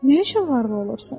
Nə üçün varlı olursan?